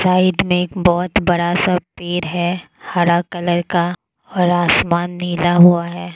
Side में एक बहुत बड़ा सा पेड़ है हरा कलर का और आसमान नीला हुआ है।